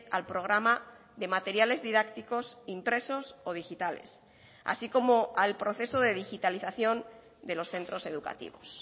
al programa de materiales didácticos impresos o digitales así como al proceso de digitalización de los centros educativos